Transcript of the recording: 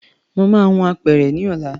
Màá hun apẹ̀rẹ̀ ní ọ̀la